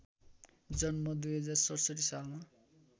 जन्म २०६७ सालमा